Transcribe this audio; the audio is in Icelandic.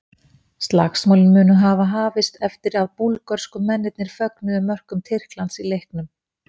Slagsmálin munu hafa hafist eftir að búlgörsku mennirnir fögnuðu mörkum Tyrklands í leiknum.